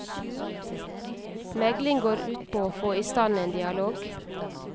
Megling går ut på å få i stand en dialog.